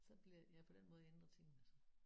Så bliver ja på den måde ændrer tingene sig